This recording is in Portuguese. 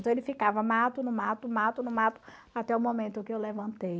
Então, ele ficava, mato, não mato, mato, não mato, até o momento que eu levantei.